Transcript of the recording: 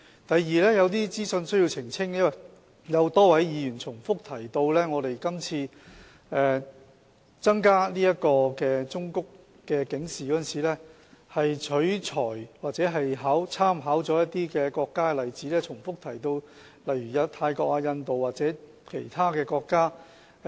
第二，我需要澄清一些資訊，因為多位議員重複提到我們今次增加忠告警示的建議，是取材或參考了一些國家的例子，並重複提到泰國、印度或其他國家。